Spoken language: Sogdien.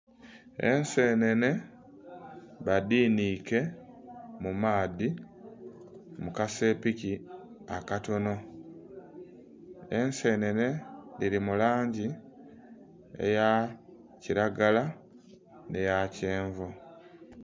Ensenene badhiniike mu maadhi mu kasepiki akatono. Ensenene dhili mu langi eya kiragala nh'eya kyenvu.